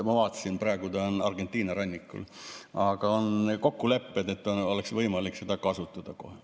Ma vaatasin, praegu ta on Argentina rannikul, aga on kokkulepped, et seda oleks võimalik kasutada kohe.